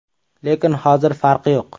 Lekin hozir farqi yo‘q.